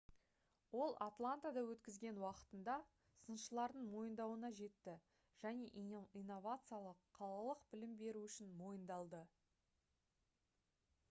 ол атлантада өткізген уақытында сыншылардың мойындауына жетті және инновациялық қалалық білім беру үшін мойындалды